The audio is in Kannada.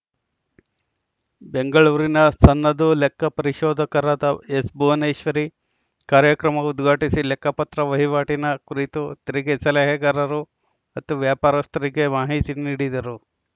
ಬೆಂಗಳೂರಿನ ಸನ್ನದು ಲೆಕ್ಕ ಪರಿಶೋಧಕರಾದ ಎಸ್‌ಭುವನೇಶ್ವರಿ ಕಾರ್ಯಕ್ರಮ ಉದ್ಘಾಟಿಸಿ ಲೆಕ್ಕ ಪತ್ರ ವಹಿವಾಟಿನ ಕುರಿತು ತೆರಿಗೆ ಸಲಹೆಗಾರರು ಮತ್ತು ವ್ಯಾಪಾರಸ್ಥರಿಗೆ ಮಾಹಿತಿ ನೀಡಿದರು